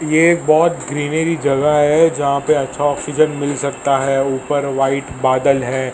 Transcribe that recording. ये एक बहोत ग्रीनरी जगह है जहां पे अच्छा ऑक्सीजन मिल सकता है ऊपर व्हाइट बादल हैं।